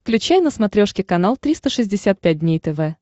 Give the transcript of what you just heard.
включай на смотрешке канал триста шестьдесят пять дней тв